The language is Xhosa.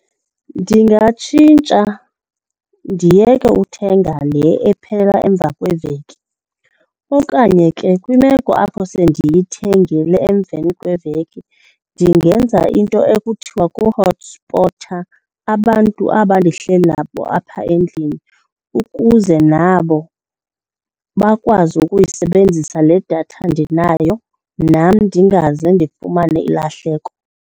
Ndingatshintsha ndiyeke uthenga le ephela emva kweveki okanye ke kwimeko apho sendiyithengile emveni kweveki ndingenza into ekuthiwa kuhothispotha abantu aba ndihleli nabo apha endlini ukuze nabo bakwazi ukuyisebenzisa le datha ndinayo, nam ndingaze ndifumane ilahleko.